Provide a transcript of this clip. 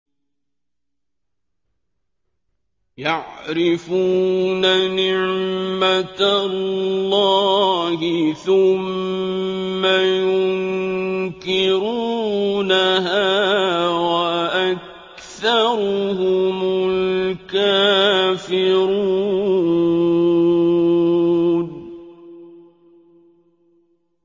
يَعْرِفُونَ نِعْمَتَ اللَّهِ ثُمَّ يُنكِرُونَهَا وَأَكْثَرُهُمُ الْكَافِرُونَ